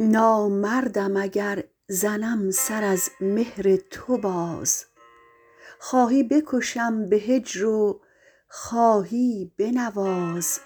نامردم اگر زنم سر از مهر تو باز خواهی بکشم به هجر و خواهی بنواز